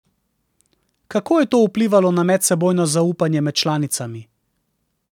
Kako je to vplivalo na medsebojno zaupanje med članicami?